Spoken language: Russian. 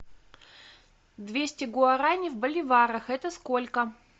двести гуарани в боливарах это сколько